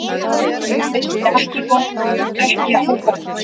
Það vissi ekki á gott.